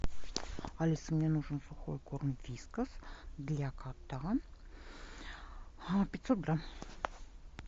алиса мне нужен сухой корм вискас для кота пятьсот грамм